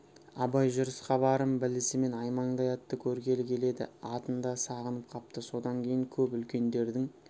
абай жүріс хабарын білісімен аймаңдай атты көргелі келеді атын да сағынып қапты содан кейін көп үлкендердің